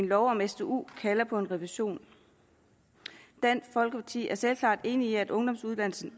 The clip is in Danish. loven om stuen kalder på en revision dansk folkeparti er selvsagt enig i at ungdomsuddannelsen